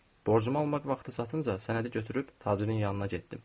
Borcumu almaq vaxtı çatınca sənədi götürüb tacirin yanına getdim.